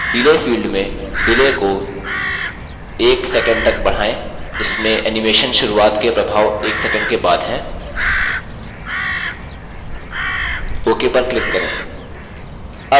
delay field में delay को 10 sec तक बढाएँ इसमें animation शुरूआत के प्रभाव एक सैकंड के बाद हैं ok पर click करें